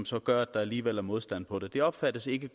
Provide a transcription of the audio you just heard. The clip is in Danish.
som gør at der alligevel er modstand mod det det opfattes ikke